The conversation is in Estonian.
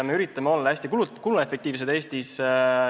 Me üritame Eestis olla hästi kuluefektiivsed.